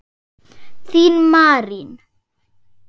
Þín Marín.